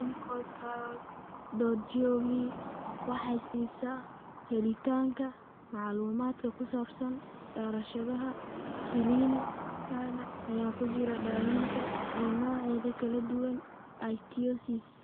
ClinicalTrials.gov waxay siisaa helitaanka macluumaadka ku saabsan daraasadaha kiliinikada (ay ku jiraan daawaynta) ee noocyada kala duwan ee ichthyosis.